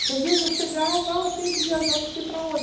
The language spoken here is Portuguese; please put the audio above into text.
Porque, às vezes, eu chegava, ah tem que viajar não sei para onde.